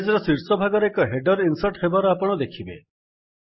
page ର ଶୀର୍ଷ ଭାଗରେ ଏକ ହେଡର୍ ଇନ୍ସର୍ଟ୍ ହେବାର ଆପଣ ଦେଖିବେ